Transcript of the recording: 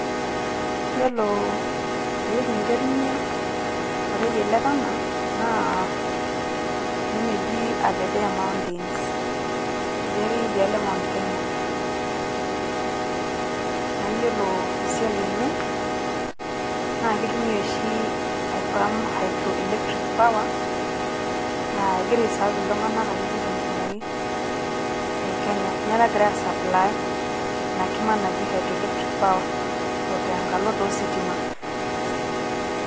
yiolo ewueji niterunyie oreyiet le Tana naa ene neji Aberdare mountains natii ake idiaalo e Mount Kenya .naa iyiolo esiai enye naa kimtumiay oshi ae pump hydro electric power laa egira ae serve akeyie iltunganak te nkumoi te Kenya ninye ogira ae supply ina kima naji hydro electric power ote nkalo too ositima.